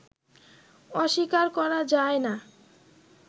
অস্বীকার করা যায় না